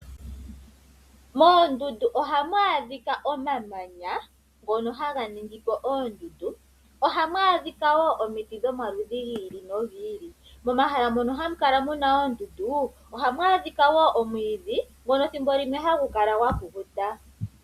Moondundu ohamu adhika omamanya ngono haga ningi po oondundu. Ohamu adhika wo omiti dhomaludhi gi ili nogi ili. Momahala mono hamu kala mu na oondundu ohamu adhika wo omwiidhi ngono ethimbo limwe hagu kala gwa kukuta.